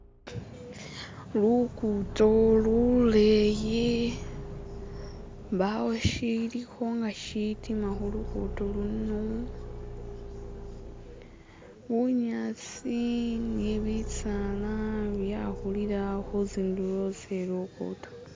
Lukuto luleyi, mbawo shilikho nga shitima khulukuto luno, bunyasi ni bisaala byakhulila khuzindulo ze lukuto.